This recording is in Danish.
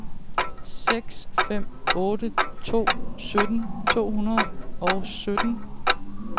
seks fem otte to sytten to hundrede og sytten